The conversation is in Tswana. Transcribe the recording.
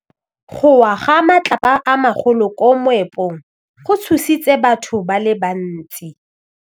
Go wa ga matlapa a magolo ko moepong go tshositse batho ba le bantsi.